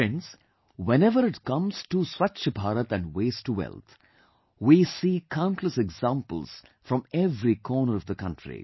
Friends, whenever it comes to Swachh Bharat and 'Waste To Wealth', we see countless examples from every corner of the country